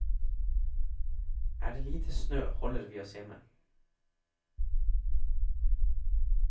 Er det lite snø, holder vi oss hjemme.